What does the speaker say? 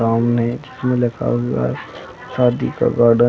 सामने इसमें लिखा हुआ है शादी का गार्डन --